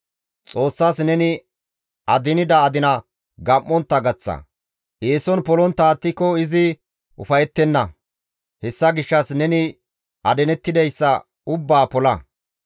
Xoossas neni adinida adina gam7ontta gaththa; eeson polontta attiko izi ufayettenna; hessa gishshas neni adinettidayssa ubbaa pola.